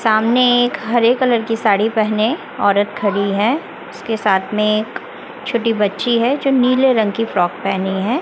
सामने एक हरे कलर की साड़ी पहने औरत खड़ी है उसके साथ में एक छोटी बच्ची है जो नीले रंग की फ्रॉक पहनी है।